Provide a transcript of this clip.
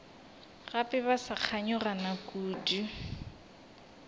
gape ba sa kganyogana kudu